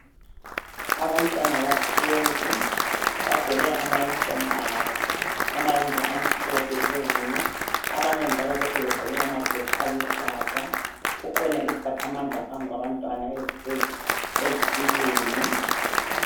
Abantwana bahlezi bagqoke amayunifomu abo amayembe amhlophe phezulu abanye njalo lokhe begqoke amajesi aluhlaza. Kukhona iziphathamandla phambi kwabantwana ezihlezi ezitulweni.